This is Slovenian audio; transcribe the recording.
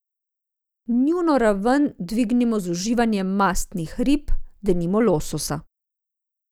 Njuno raven dvignimo z uživanjem mastnih rib, denimo lososa.